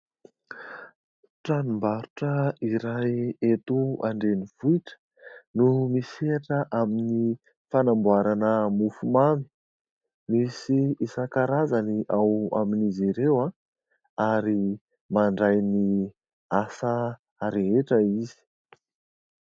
Tranom-barotra iray eto an-drenivohitra no misehatra amin'ny fanamboarana mofomamy. Misy isan-karazany ao amin'izy ireo ary mandray ny asa rehetra izy.